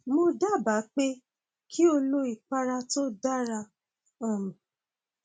mo dábàá pé kí o lo ìpara tó dara um b